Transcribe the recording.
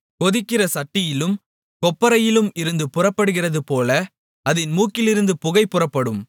கொதிக்கிற சட்டியிலும் கொப்பரையிலும் இருந்து புறப்படுகிறதுபோல அதின் மூக்கிலிருந்து புகை புறப்படும்